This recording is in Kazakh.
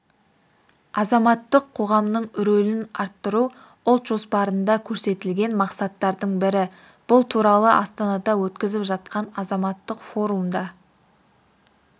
азаматтық қоғамның рөлін арттыру ұлт жоспарында көрсетілген мақсаттардың бірі бұл туралы астанада өтіп жатқан азаматтық форумда